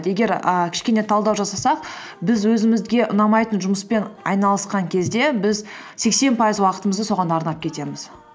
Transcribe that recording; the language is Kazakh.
егер ііі кішкене талдау жасасақ біз өзімізге ұнамайтын жұмыспен айналысқан кезде біз сексен пайыз уақытымызды соған арнап кетеміз